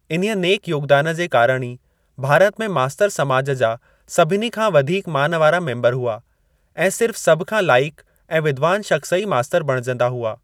इन्हीअ नेक योगदान जे कारण ई भारत में मास्तर समाज जा सभिनी खां वधीक मान वारा मेम्बर हुआ ऐं सिर्फ़ सभ खां लाइकु ऐं विद्वान शख़्स ई मास्तर बणिजंदा हुआ।